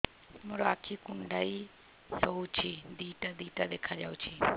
ମୋର ଆଖି କୁଣ୍ଡାଇ ହଉଛି ଦିଇଟା ଦିଇଟା ଦେଖା ଯାଉଛି